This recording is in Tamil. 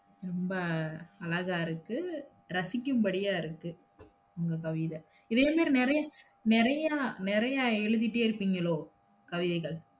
ரொம்ப அழகா இருக்கு, ரசிக்கும்படியா இருக்கு உங்க கவிதை, இதே மாதிரி நெறையா, நெறையா, நெறையா எழுதுதிட்டே இருப்பீங்களோ? கவிதைகள்